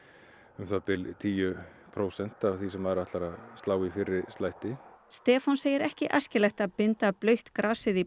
um það bil tíu prósent af því sem maður ætlar að slá í fyrri slætti Stefán segir ekki æskilegt að binda blautt grasið í